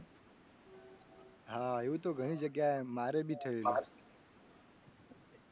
હા એવું તો ઘણી જગ્યાએ મારે બી થયેલું છે